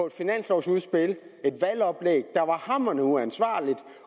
et finanslovudspil og et valgoplæg der var hamrende uansvarligt